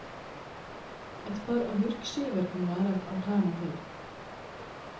Et par agurkskiver kan være et alternativ.